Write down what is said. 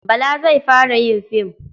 Bala zai fara yin fim.